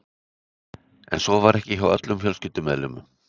En svo var ekki hjá öllum fjölskyldumeðlimum.